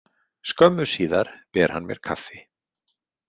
Skömmu síðar ber hann mér kaffi.